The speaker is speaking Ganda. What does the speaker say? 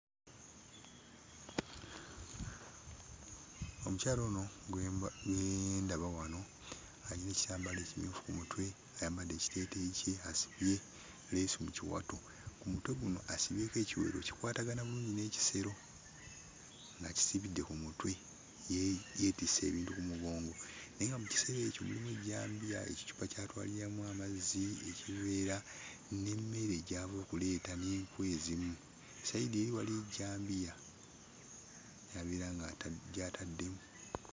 Omukyala ono gwe ndaba wano ayina ekyambalo ekiri ku mutwe, ayambadde ekiteeteeyi kye, asibye leesu mu kiwato. Ku mutwe guno asibyeko ekiwero ekikwatagana bulungi n'ekisero ng'akisibidde ku mutwe, yeetisse ebintu ku mugongo naye nga mu kiseero ekyo mulimu ejjambiya, ekicupa ky'atwaliramu amazzi, ekiveera n'emmere gy'ava okuleeta n'enku ezimu. Sayidi eri waliyo ejjambiya gy'abeera nga gy'atadde...